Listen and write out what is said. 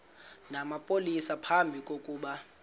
namapolisa phambi kokuba